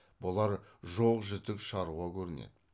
бұлар жоқ жітік шаруа көрінеді